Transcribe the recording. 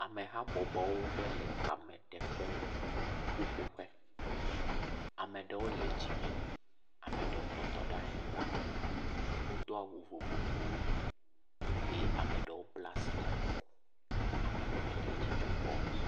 Amehabɔbɔwo ɖe le kame teƒe ƒoƒu ƒe, ame ɖewo le dzime ame ɖewo tse trɔ wotɔ ɖe anyigba, wodo awu vovovowo eye ame ɖewo kpla asi ɖe akɔ eye ame ɖewo tse le dzidzɔ kpɔm.